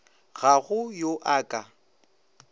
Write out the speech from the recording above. ga go yo a ka